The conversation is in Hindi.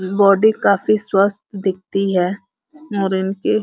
बॉडी काफी स्वस्थ दिखती है और इन की --